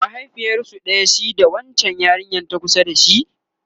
mahaifiyarsu ɗaya shi da wancan yarinyan ta kusa da shi?